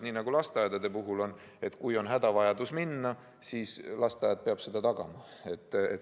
Nii nagu lasteaedade puhul on: kui on hädavajadus laps lasteaeda viia, siis lasteaed peab selle võimaluse tagama.